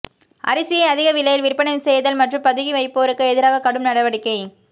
அரிசியை அதிக விலையில் விற்பனை செய்தல் மற்றும் பதுக்கி வைப்போருக்கு எதிராக கடும் நடவடிக்கை